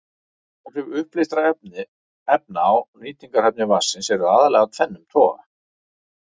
Áhrif uppleystra efna á nýtingarhæfni vatnsins eru aðallega af tvennum toga.